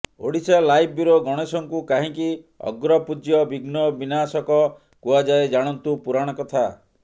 Odisha live bureau ଗଣେଶଙ୍କୁ କାହିଁକି ଅଗ୍ରପୂଜ୍ୟ ବିଘ୍ନ ବିନାଶକ କୁହଯାଏ ଜାଣନ୍ତୁ ପୁରାଣ କଥା